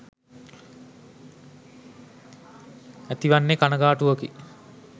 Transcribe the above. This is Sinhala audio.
ඇතිවන්නේ කනගාටුවකි.